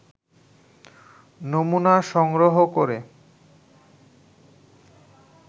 নমুনা সংগ্রহ করে